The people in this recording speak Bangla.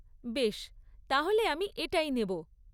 বেশ! তাহলে আমি এটাই নেব।